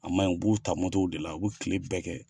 A man ɲi u b'u ta motow de la u bɛ kile bɛɛ kɛ